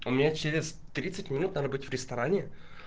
у меня через тридцать минут на работе в ресторане